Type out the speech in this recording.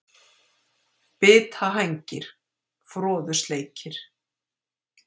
Bitahængir, Froðusleikir,